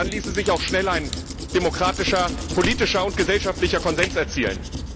Dann ließe sich auch schnell ein demokratischer politischer und gesellschaftlicher Konsens erzielen.